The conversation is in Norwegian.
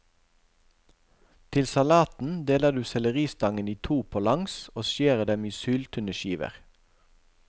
Til salaten deler du selleristangen i to på langs og skjærer dem i syltynne skiver.